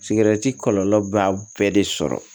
kɔlɔlɔ b'a bɛɛ de sɔrɔ